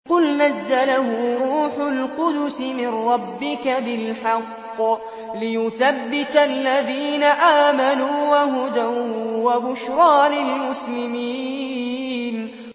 قُلْ نَزَّلَهُ رُوحُ الْقُدُسِ مِن رَّبِّكَ بِالْحَقِّ لِيُثَبِّتَ الَّذِينَ آمَنُوا وَهُدًى وَبُشْرَىٰ لِلْمُسْلِمِينَ